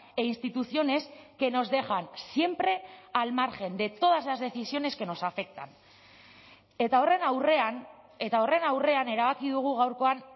e instituciones que nos dejan siempre al margen de todas las decisiones que nos afectan eta horren aurrean eta horren aurrean erabaki dugu gaurkoan